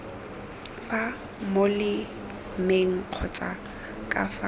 fa molemeng kgotsa ka fa